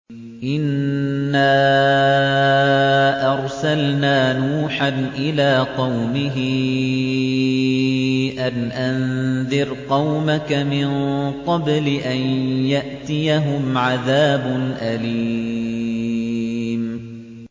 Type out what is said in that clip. إِنَّا أَرْسَلْنَا نُوحًا إِلَىٰ قَوْمِهِ أَنْ أَنذِرْ قَوْمَكَ مِن قَبْلِ أَن يَأْتِيَهُمْ عَذَابٌ أَلِيمٌ